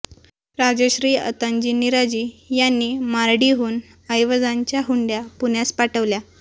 राजश्री अंताजी निराजी यांनीं मारडीहून ऐवजांच्या हुंडया पुण्यास पाठविल्या